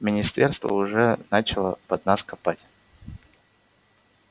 министерство уже начало под нас копать